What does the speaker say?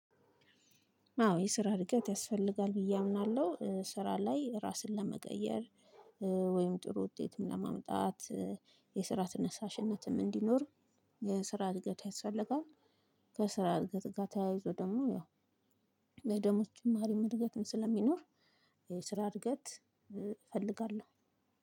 አዎ የስራ እድገት ያስፈልጋል ብዬ አምናለሁ ስራ ላይ ራስን ለመቀየር ወይም ጥሩ ውጤትም ለማምጣት የስራ ትነሳሽነትም እንዲኖር የስራ እድገት ያስፈልጋል ከስራ እድገት ጋር ተያይዞ ደግሞ ያው የደሞዝ ጭማሪ እድገትን ስለሚኖር የስራ እድገት እፈልጋለሁ።